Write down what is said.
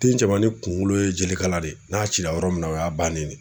Den cɛmanni kunkolo ye jelekala de ye, n'a cira yɔrɔ min na o y'a bannen ne.